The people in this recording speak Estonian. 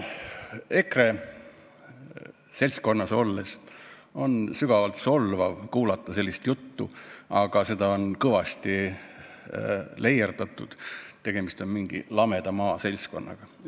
EKRE seltskonnas olles on sügavalt solvav sellist juttu kuulata, aga seda juttu on kõvasti leierdatud, et tegemist on mingi lameda maa seltskonnaga.